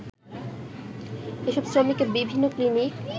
এসব শ্রমিককে বিভিন্ন ক্নিনিক